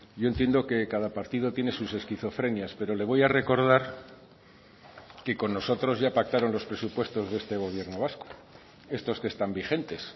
yo entiendo que cada partido tiene sus esquizofrenias pero le voy a recordar que con nosotros ya pactaron los presupuestos de este gobierno vasco estos que están vigentes